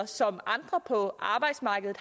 som andre på arbejdsmarkedet